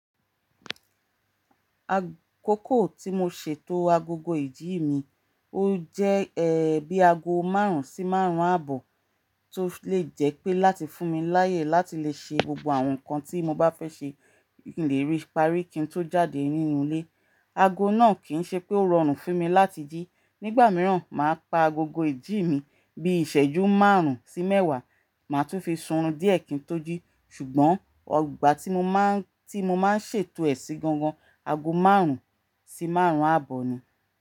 Akoko tí mo ṣètò agogo ìdí mi, ó jẹ́ ẹ́ bí ago márùn-ún sí márùn-ún àbọ̀ tó lè jẹ́ pé láti fún mi láyè láti lè ṣe gbogbo àwọn nǹkan tí mo bá fẹ́ ṣe kin lérí parí kí n tó jáde nínú ilé. Ago náà kì í ṣe pé ó rọrùn fún mi láti jí. Nígbà mìíràn, màá pa agogo ìjí mi bí ìṣẹ́jú márùn-ún sí mẹ́wàá, màá tún fi sunrun díẹ̀ kí n tó jí, ṣùgbọ́n ọgbà tí mo máa ń, tí mo máa ń ṣètò èsì gangan, ago márùn-ún sí márùn-ún àbọ̀ ni.